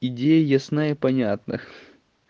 идеи ясна и понятна